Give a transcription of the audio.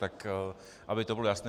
Tak aby to bylo jasné.